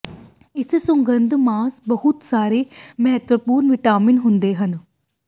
ਇਸ ਸੁਗੰਧ ਮਾਸ ਬਹੁਤ ਸਾਰੇ ਮਹੱਤਵਪੂਰਨ ਵਿਟਾਮਿਨ ਹੁੰਦੇ ਹਨ